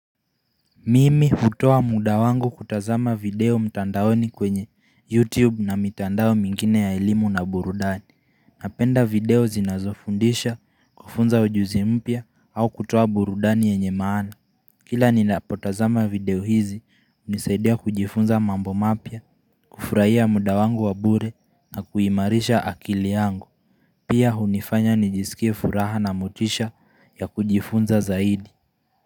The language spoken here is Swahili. Mimi hutoa muda wangu kutazama video mtandaoni kwenye youtube na mitandao mingine ya elimu na burudani Napenda video zinazofundisha kufunza ujuzi mpya au kutoa burudani yenye maana Kila ninapotazama video hizi unisaidia kujifunza mambo mapya kufurahia muda wangu wabure na kuimarisha akili yangu Pia hunifanya nijisikie furaha na motisha ya kujifunza zaidi.